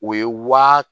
O ye waa